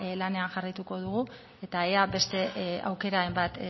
lanean jarraituko dugu eta ea beste aukeraren bat